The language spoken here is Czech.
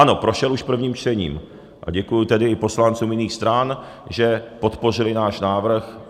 Ano, prošel už prvním čtením, a děkuji tedy i poslancům jiných stran, že podpořili náš návrh.